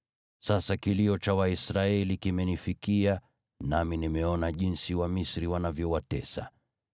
Sasa kilio cha Waisraeli kimenifikia, nami nimeona jinsi Wamisri wanavyowatesa.